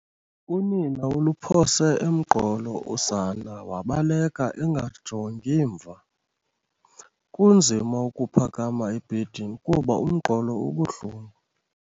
Unina uluphose emqolo usana wabaleka engajongi emva. kunzima ukuphakama ebhedini kuba umqolo ubuhlungu